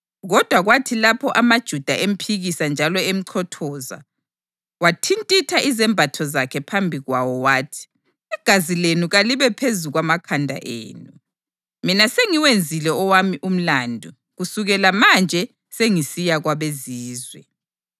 Kodwa kwathi lapho amaJuda emphikisa njalo emchothoza, wathintitha izembatho zakhe phambi kwawo wathi, “Igazi lenu kalibe phezu kwamakhanda enu! Mina sengiwenzile owami umlandu. Kusukela manje sengisiya kwabeZizwe.”